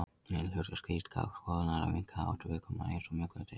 Meginhlutverk slíkrar skoðunar er að minnka áhættu viðkomandi eins og mögulegt er.